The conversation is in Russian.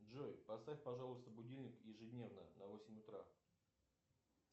джой поставь пожалуйста будильник ежедневно на восемь утра